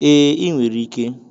Ee, ị nwere ike.